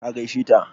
Ka gaishe ta?